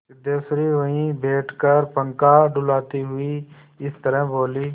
सिद्धेश्वरी वहीं बैठकर पंखा डुलाती हुई इस तरह बोली